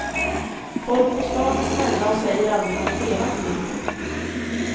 Folk på stan är snälla och säger aldrig något elakt till mig.